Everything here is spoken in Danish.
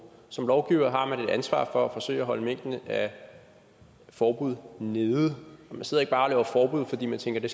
som lovgiver har man et ansvar for at forsøge at holde mængden af forbud nede man sidder ikke bare og laver forbud fordi man tænker